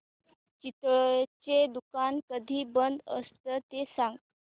चितळेंचं दुकान कधी बंद असतं ते सांग